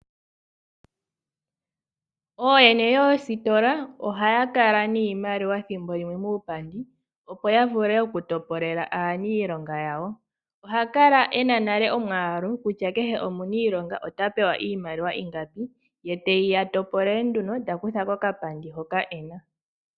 Ooyene yoositola ohaya kala niimaliwa thimbo limwe muupandi opo yavule okutopolela aaniilonga yawo, ohakala ena nale omwaalu kutya kehe omuniilonga ota pewa iimaliwa ingapi, ye teyiya topolele nduno takutha kokapandi hoka ena.